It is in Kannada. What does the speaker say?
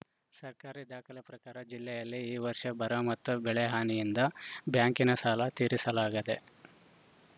ಸರ್ಕಾರಿ ದಾಖಲೆ ಪ್ರಕಾರ ಜಿಲ್ಲೆಯಲ್ಲಿ ಈ ವರ್ಷ ಬರ ಮತ್ತು ಬೆಳೆ ಹಾನಿಯಿಂದ ಬ್ಯಾಂಕಿನ ಸಾಲ ತೀರಿಸಲಾಗದೆ